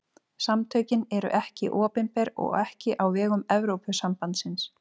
Samtökin eru ekki opinber og ekki á vegum Evrópusambandsins.